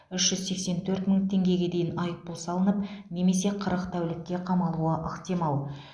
үш жүз сексен төрт мың теңгеге дейін айыппұл салынып немесе қырық тәулікке қамалуы ықтимал